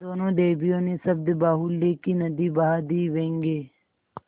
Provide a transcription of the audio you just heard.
दोनों देवियों ने शब्दबाहुल्य की नदी बहा दी व्यंग्य